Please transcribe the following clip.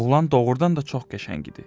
Oğlan doğurdan da çox qəşəng idi.